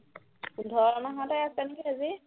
পোন্ধৰ মাহতে আছে নহয় বেজী